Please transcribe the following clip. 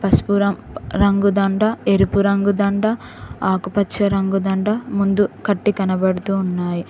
పశుపురం రంగుదండ ఎరుపు రంగు దండ ఆకుపచ్చ రంగు దండ ముందు కట్టి కనపడుతూ ఉన్నాయి.